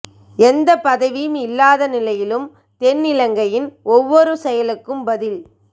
எந்த பதவியும் இல்லாத நிலையிலும் தென் இலங்கையின் ஒவ்வொரு செயலுக்கும் பதில்